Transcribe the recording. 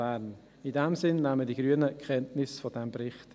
In diesem Sinn nehmen die Grünen Kenntnis von diesem Bericht.